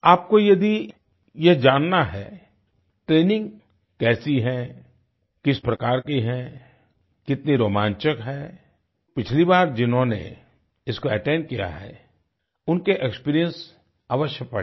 आपको यदि यह जानना है ट्रेनिंग कैसी है किस प्रकार की है कितनी रोमांचक है पिछली बार जिन्होंने इसको अटेंड किया है उनके एक्सपीरियंस अवश्य पढ़ें